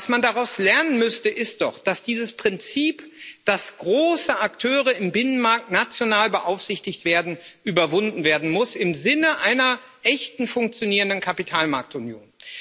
Was man daraus lernen müsste, ist doch, dass dieses Prinzip, dass große Akteure im Binnenmarkt national beaufsichtigt werden, überwunden werden muss im Sinne einer echten, funktionierenden Kapitalmarktunion.